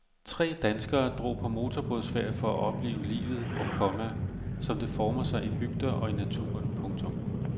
Tre danskere drog på motorbådsfærd for at opleve livet, komma som det former sig i bygder og i naturen. punktum